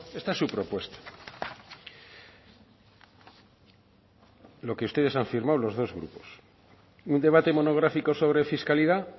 esta es su propuesta lo que ustedes han firmado los dos grupos un debate monográfico sobre fiscalidad